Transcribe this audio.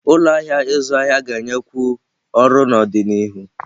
Ụlọ ahịa ịzụ ahịa ga-enyekwu ọrụ n'ọdịnihu.